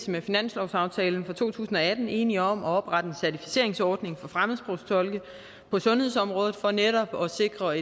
med finanslovsaftalen for to tusind og atten enige om at oprette en certificeringsordning for fremmedsprogstolke på sundhedsområdet for netop at sikre